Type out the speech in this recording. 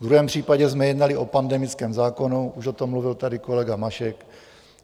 V druhém případě jsme jednali o pandemickém zákonu, už o tom mluvil tady kolega Mašek.